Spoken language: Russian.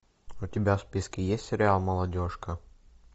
у тебя в списке есть сериал молодежка